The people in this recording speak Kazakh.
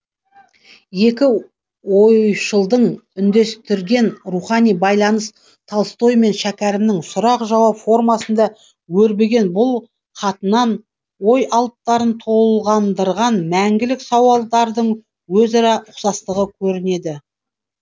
екі ойшылдың үндестірген рухани байланыс толстой мен шәкәрімнің сұрақ жауап формасында өрбіген бұл хатынан ой алыптарын толғандырған мәңгілік сауалдардың өзара ұқсастығы көрінеді